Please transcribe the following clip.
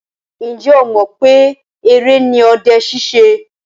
Ǹjẹ́ ọ mọ̀ pé eré ni ọdẹ ṣíṣe?